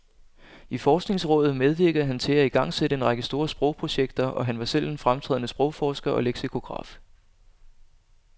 I forskningsrådet medvirkede han til at igangsætte en række store sprogprojekter, og han var selv en fremtrædende sprogforsker og leksikograf.